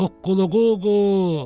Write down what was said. Qulquququ.